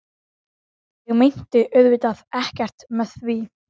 Er hún ekki skrifuð af Guði?